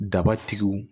Daba tigiw